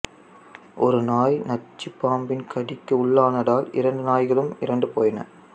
ஒரு நாய் நச்சுப் பாம்பின் கடிக்கு உள்ளானதால் இரண்டு நாய்களும் இறந்துபோயின